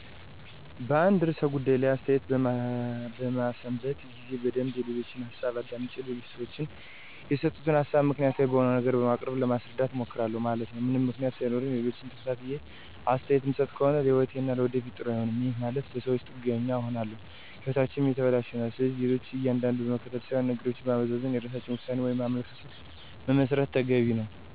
በአንድ ርዕሠ ጉዳይ ላይ አሥተያየት በምሠማበት ጊዜ በደንብ የሌሎችን ሀሣብ አዳምጨ ሌሎች ሠወች የሰጡትን ሀሣብ ምክንያታዊ በሆነ ነገር በማቅረብ ለማሥረዳት እሞክራሁ ማለት ነው። ምንም ምክንያት ሣይኖረኝ ሌሎችን ተከትየ አስተያየት ምሠጥ ከሆነ ለህይወቴም ለወደፊት ጥሩ አይሆንም፤ ይህም ማለት በሠወች ጥገኛ እንሆናለን ህይወታችንም የተበለሸ ይሆናል። ስለዚህ ሌሎች እንደነዱን መከተል ሥይሆን ነገሮችን በማመዛዘን የራሳችን ውሣኔ ወይም አመለካከት መመስረት ተገቢ ነው።